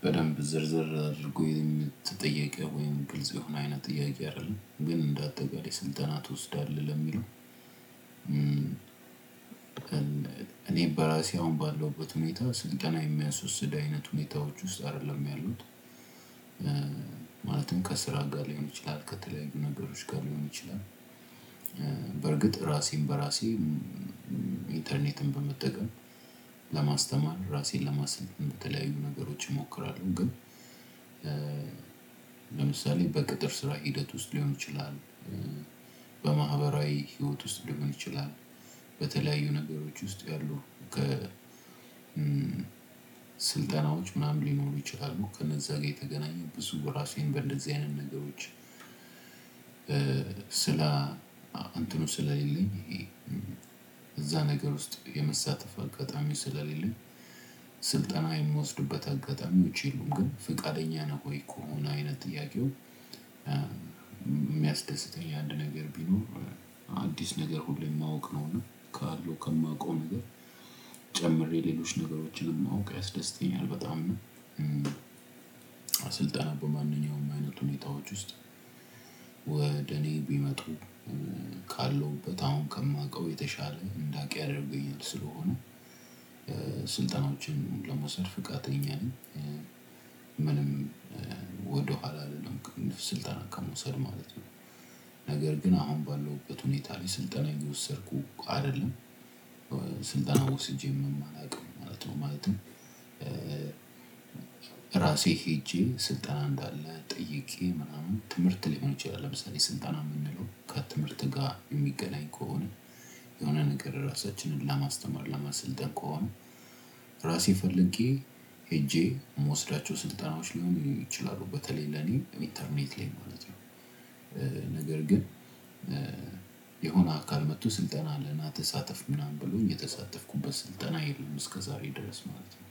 በደንብ ዝርዝር አድርጎ የምትጠየቀው ወይም ግልጽ የሆነ አይነት ጥያቄ አይደለም ግን እንደ አጠቃላይ ስልጠና ትወስዳለህ ለሚለው እኔ በራሴ አሁን ባለውበት ሁኔታ ስንጠና የሚያስ ወስድ አይነት ሁኔታዎች ውስጥ አይደለም ያሉት ማለትም ከስራ ጋር ሊሆን ይችላል ከተለያዩ ነገሮች ጋር ሊሆን ይችላል በእርግጥ ራሴን በራሴም ኢንተርኔትን በመጠቀም ለማስተማር ራሴን ለማስተማር የምትለያዩ ነገሮች እሞክራለሁ። ግን ለምሳሌ በቅጥር ስራ ውስጥ ሊሆን ይችላል። በማህበራዊ ህይወት ውስጥ ሊሆን ይችላል። በተለያዩ ነገሮች ውስጥ ያሉ ስልጠናዎች ምናምን ሊኖሩ ይችላሉ ከነዛ ጋር የተገናኙበት ራሴን በእንደዚህ አይነት ነገሮች ስራ ስለ እንትኑ ስለሌለኝ እዛ ነገር ውስጥ የመሳተፍ አጋጣሚ ስልጣን የምወስዱበት አጋጣሚዎች የሉም ግን ፍቃደኛ ነው ወይ እኮ አይነት ጥያቄው የሚያስደስተኝ አንድ ነገር ቢኖር አዲስ ነገር ሁሌም ማወቅ ነውና ካለው ከማውቀው ነገር ጀምሬ ሌሎች ነገሮችን ማወቅ ያስደስተኛል። በጣም ነው በጣም ስልጠና በማንኛውም አይነት ሁኔታዎች ውስጥ ወደ እኔ ቢመጡ ካለውበት አሁን ከማውቀው የተሻለ እንዳውቅ ያደርግልኛል። ስለሆነ ስልጠናዎችን ለመውሰድ ፈቃደኛ ነኝ ምንም ወደኋላ አልልም። ስልጠና ከመውሰድ ማለት ነው ነገር ግን አሁን ባለውበት ሁኔታ ላይ ስልጠና እየወሰድኩ አይደለም። ስልጠና ወስጄም አላውቅም ማለት ነው። ማለትም ራሴ ሄጄ ስልጠና እንዳለ ጠይቄ ምናምን ትምህርት ሊሆን ይችላል። ለምሳሌ ስልጠና የምንለው ከትምህርት ጋር የሚገናኝ ከሆነ የሆነ ነገር ራሳችንን ለማስተማር ለመሰልጠን ከሆነ ራሴ ፈልጌ ሄጄ የምወስዳቸው ስልጠናዎች ሊሆን ይችላሉ። በተለይ ለእኔ ኢንተርኔት ላይ ማለት ነው። ነገር ግን የሆነ አካል መጥቶ ስልጠና አለ ና ተሳተፍ ምናምን ብሎኝ የተሳተፍኩበት ስልጠና የለም። እስከ ዛሬ ድረስ ማለት ነው።